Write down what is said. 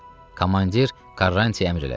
Komandir Karrantiyə əmr elədi.